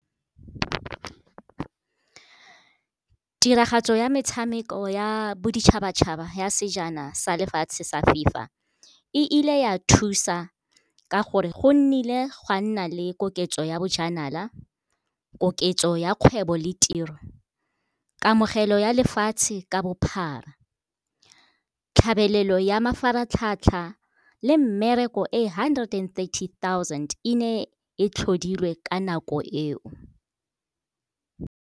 Tiragatso ya metshameko ya boditšhabatšhaba ya sejana sa lefatshe sa FIFA, e ile ya thusa ka gore go nnile gwa nna le koketso ya bojanala, koketso ya kgwebo le tiro. Kamogelo ya lefatshe ka bophara, tlhabelelo ya mafaratlhatlha le mmereko e hundred and thirty-thousand e ne e tlhodilwe ka nako eo.